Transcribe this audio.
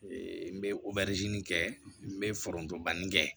n bɛ kɛ n bɛ foronto banni kɛ